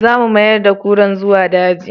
Za mu mayar da kuran zuwa daji